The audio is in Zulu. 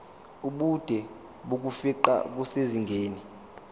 ubude bokufingqa kusezingeni